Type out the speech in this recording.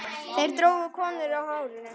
Þeir drógu konur á hárinu.